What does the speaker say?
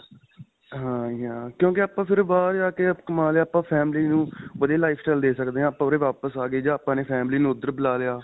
ਹਾਂ ਜੀ ਹਾਂ ਕਿਉਂਕਿ ਆਪਾਂ ਫਿਰ ਬਾਹਰ ਜਾਂ ਕੇ ਕਮਾਂ ਕੇ ਆਪਾਂ family ਨੂੰ ਵਧੀਆ lifestyle ਦੇ ਸਕਦੇ ਹਾਂ. ਆਪਾਂ ਉਰੇ ਵਾਪਿਸ ਆ ਗਏ ਜਾਂ ਆਪਾਂ family ਨੂੰ ਉੱਧਰ ਬੁਲਾ ਲਿਆ.